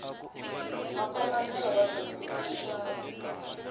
makombandlela wa bindzu i muxavi